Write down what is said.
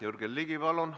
Jürgen Ligi, palun!